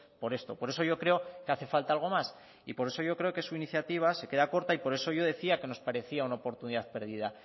por esto por eso yo creo que hace falta algo más y por eso yo creo que su iniciativa se queda corta y por eso yo decía que nos parecía una oportunidad perdida